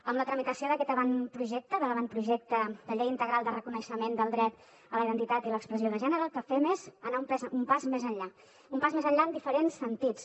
amb la tramitació d’aquest avantprojecte de l’avantprojecte de llei integral de reconeixement del dret a la identitat i l’expressió de gènere el que fem és anar un pas més enllà un pas més enllà en diferents sentits